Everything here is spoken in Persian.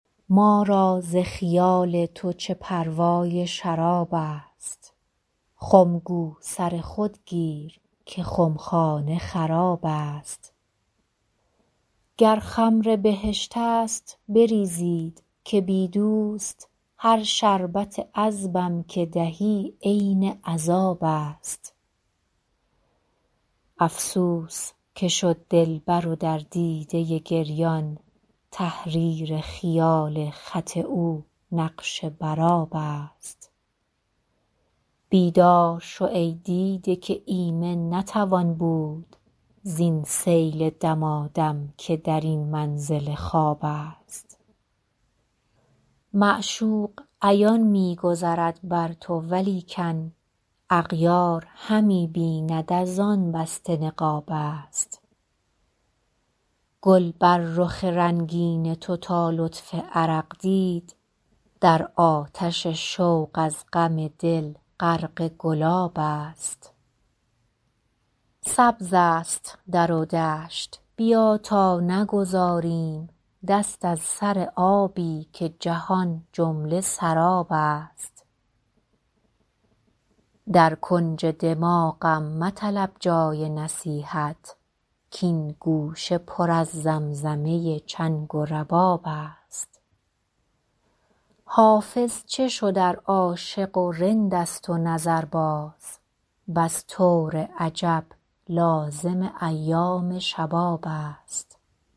ما را ز خیال تو چه پروای شراب است خم گو سر خود گیر که خمخانه خراب است گر خمر بهشت است بریزید که بی دوست هر شربت عذبم که دهی عین عذاب است افسوس که شد دلبر و در دیده گریان تحریر خیال خط او نقش بر آب است بیدار شو ای دیده که ایمن نتوان بود زین سیل دمادم که در این منزل خواب است معشوق عیان می گذرد بر تو ولیکن اغیار همی بیند از آن بسته نقاب است گل بر رخ رنگین تو تا لطف عرق دید در آتش شوق از غم دل غرق گلاب است سبز است در و دشت بیا تا نگذاریم دست از سر آبی که جهان جمله سراب است در کنج دماغم مطلب جای نصیحت کـ این گوشه پر از زمزمه چنگ و رباب است حافظ چه شد ار عاشق و رند است و نظرباز بس طور عجب لازم ایام شباب است